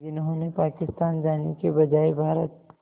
जिन्होंने पाकिस्तान जाने के बजाय भारत